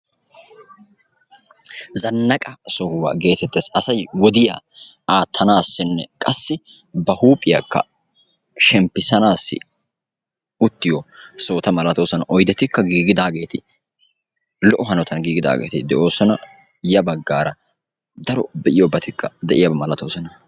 zannaqqa sohuwa geteettes; asay wodiyaa aatanassinne ba huuphiyaa shemppisanassi uuttiyo sohota malatoosona; ya baggara daro giigida sohoti de'iyaaba malatoosona.